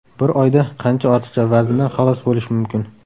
Bir oyda qancha ortiqcha vazndan xalos bo‘lish mumkin?